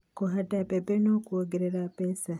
Kũhanda mbembe no kuongerere mbeca